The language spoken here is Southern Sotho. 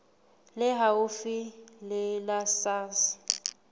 le haufi le la sars